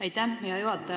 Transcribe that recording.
Aitäh, hea juhataja!